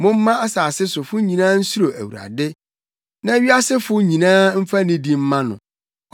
Momma asase sofo nyinaa nsuro Awurade; na wiasefo nyinaa mfa nidi mma no.